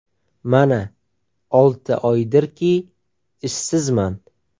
Mana olti oydirki ishsizman.